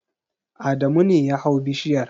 Adamu ne ya hau bishiyar.